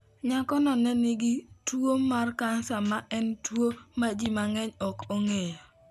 Nyakono ne ni gi tuwo mar kansa ma en tuwo ma ji mang'eny ok ong'eyo.